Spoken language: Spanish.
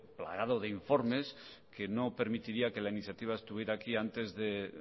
plagado de informes que no permitiría que la iniciativa estuviera aquí antes de